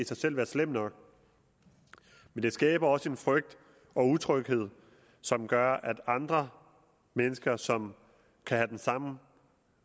sig selv være slemt nok men det skaber også en frygt og utryghed som gør at andre mennesker som kan have den samme